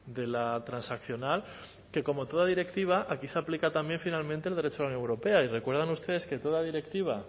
de la transaccional que como toda directiva aquí se aplica también finalmente el derecho de la unión europea y recuerdan ustedes que toda directiva